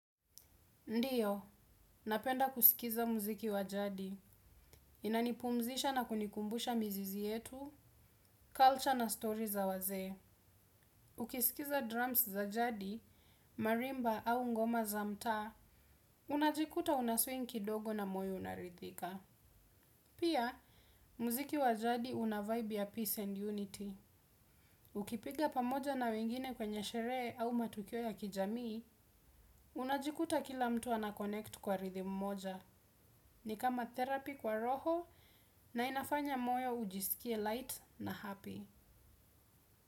Ndiyo napenda kuskiza muziki wa jadi. Inanipumzisha na kunikumbusha mizizi yetu, culture na story za wazee. Ukisikiza drums za jadi, marimba au ngoma za mtaa, unajikuta unaswing kidogo na moyo unarithika. Pia, muziki wa jadi unavibe ya peace and unity. Ukipiga pamoja na wengine kwenye sherehe au matukio ya kijamii unajikuta kila mtu anaconnect kwa rhythm moja. Ni kama therapy kwa roho na inafanya moyo ujisikie light na happy.